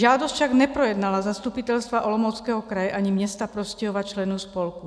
Žádost však neprojednala zastupitelstva Olomouckého kraje ani města Prostějova členů spolku.